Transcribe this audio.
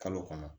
Kalo kɔnɔ